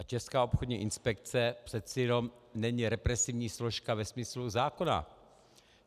A Česká obchodní inspekce přece jenom není represivní složka ve smyslu zákona.